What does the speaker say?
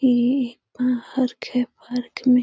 ये एक पार्क है। पार्क में --